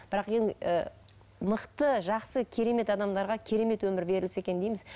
бірақ ы мықты жақсы керемет адамдарға керемет өмір берілсе екен дейміз